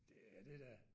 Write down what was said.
Det er det da